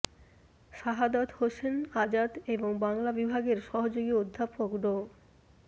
শাহাদৎ হোসেন আজাদ এবং বাংলা বিভাগের সহযোগী অধ্যাপক ড